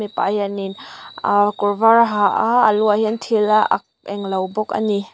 pa hianin ahh kawr vâr a ha a a lu ah hian thil a ak englo bawk a ni.